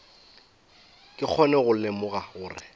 ke kgone go lemoga gore